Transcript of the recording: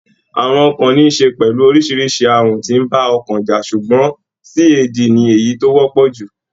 Àrùn ọkàn níí ṣe pẹ̀lú orísirísi àrùn tí ń bá ọkàn jà ṣùgbọ́n CAD ní èyí tó wọ́pọ̀ jù.